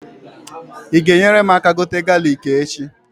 Ị ga-enyere mụ aka gote galik echi?